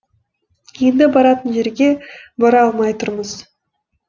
енді баратын жерге бара алмай тұрмыз